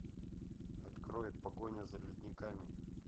открой погоня за ледниками